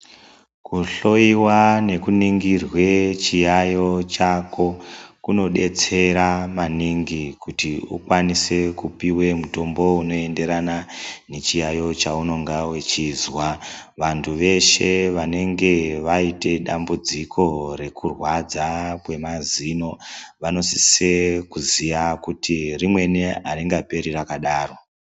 Kuhloiwa nekuningirwe chiyaiyo chako, kunodetsera maningi kuti ukwanise kupiwe mitombo unoenderana, nechiyaiyo chaunonga uchizwa. Vantu veshe vanenge vaite dambudziko rekurwadza kwemazino, vanosise kuziya kuti rimweni aringaperi rakadaro.